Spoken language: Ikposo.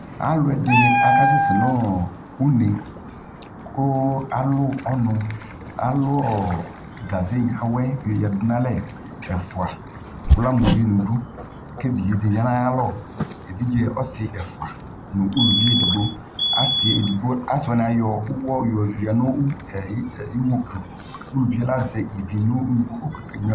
Alʋ ɛdini akasɛsɛ nʋ une kʋ alʋ ɔnʋ, alʋ ɔ kaze yawɛ yɔyadʋ n'alɛ ɛfua kʋ ama ʋvi ni du, kʋ evidze di ya nʋ ayalɔ Evidze asi ɛfua nʋ ulʋvi edigbo Asi edigbo, asi wani ayɔ ʋwɔ yɔya nʋ iwɔkiʋ Uluvie azɛ ivi kʋ okenyua